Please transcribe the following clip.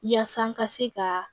Yaasa n ka se ka